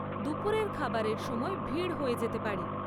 দুপুরের খাবারের সময় ভিড় হয়ে যেতে পারে।